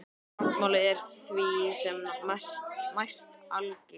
Táknmálið er því sem næst algilt.